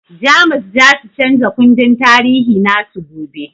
Jamus zasu chanza kundin tarihi nasu gobe